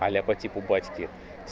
а ля по типу батьки